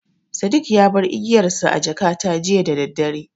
Sadik ya bar igiyarsa a jakata jiya daddare.